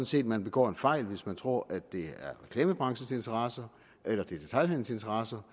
set man begår en fejl hvis man tror at det er reklamebranchens interesser eller detailhandelens interesser